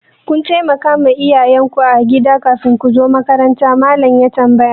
Kun taimakawa iyayen ku agida kafin ku zo makaranta? Mallam ya tambaya.